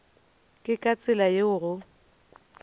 ke ka tsela yeo go